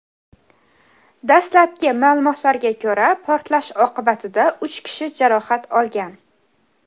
Dastlabki ma’lumotlarga ko‘ra, portlash oqibatida uch kishi jarohat olgan.